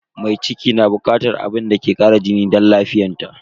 Mai ciki na bukatar abinci mai kara jini da lafiya.